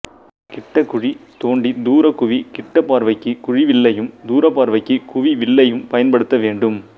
கிட்டக் குழி தோண்டி தூரக் குவி கிட்டப் பார்வைக்கு குழிவில்லையும் தூரப்பார்வைக்கு குவிவில்லையும் பயன்படுத்த வேண்டும்